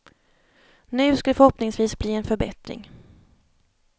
Nu ska det förhoppningsvis bli en förbättring.